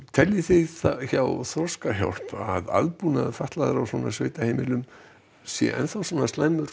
teljið þið hjá Þroskahjálp að aðbúnaður fatlaðra á svona sveitaheimilum sé slæmur